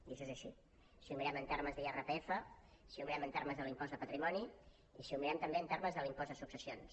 i això és així si ho mirem en termes d’irpf si ho mirem en termes de l’impost de patrimoni i si ho mirem també en termes de l’impost de successions